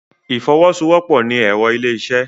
Ìfọwọ́sowọ́pọ̀ ni ẹ̀rọ ilé-isẹ́